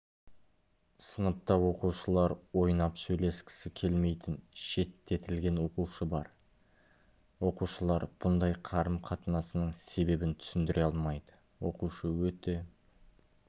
сыныпта оқушылар ойнап сөйлескісі келмейтін шеттетілген оқушы бар оқушылар бұндай қарым-қатынасының себебін түсіндіре алмайды оқушы өте